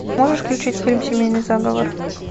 можешь включить фильм семейный заговор